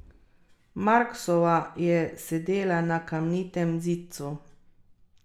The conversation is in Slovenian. Marksova je sedela na kamnitem zidcu.